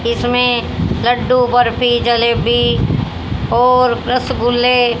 इसमें लड्डू बर्फी जलेबी और रसगुल्ले--